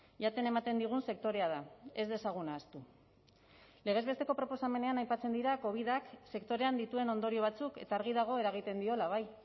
jaten ematen digun sektorea da ez dezagun ahaztu legez besteko proposamenean aipatzen dira covidak sektorean dituen ondorio batzuk eta argi dago eragiten diola bai